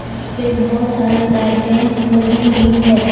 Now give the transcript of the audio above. यहां पे बहोत सारे लाइटें लगी हुई है।